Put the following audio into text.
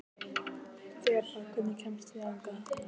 Þeba, hvernig kemst ég þangað?